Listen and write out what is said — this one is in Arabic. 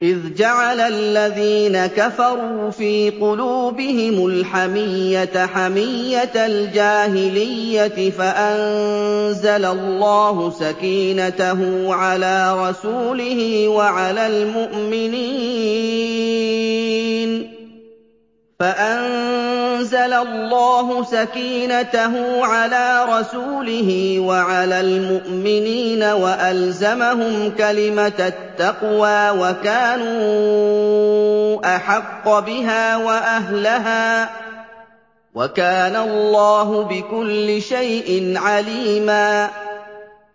إِذْ جَعَلَ الَّذِينَ كَفَرُوا فِي قُلُوبِهِمُ الْحَمِيَّةَ حَمِيَّةَ الْجَاهِلِيَّةِ فَأَنزَلَ اللَّهُ سَكِينَتَهُ عَلَىٰ رَسُولِهِ وَعَلَى الْمُؤْمِنِينَ وَأَلْزَمَهُمْ كَلِمَةَ التَّقْوَىٰ وَكَانُوا أَحَقَّ بِهَا وَأَهْلَهَا ۚ وَكَانَ اللَّهُ بِكُلِّ شَيْءٍ عَلِيمًا